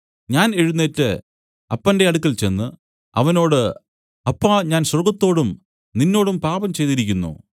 ഞാൻ എഴുന്നേറ്റ് അപ്പന്റെ അടുക്കൽ ചെന്ന് അവനോട് അപ്പാ ഞാൻ സ്വർഗ്ഗത്തോടും നിന്നോടും പാപം ചെയ്തിരിക്കുന്നു